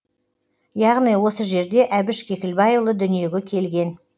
яғни осы жерде әбіш кекілбайұлы дүниеге келген